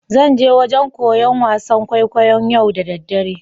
Zan je wajen koya wasan kwaikwayo'n yau da dare.